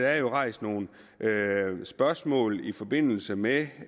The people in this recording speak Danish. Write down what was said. rejst nogle spørgsmål i forbindelse med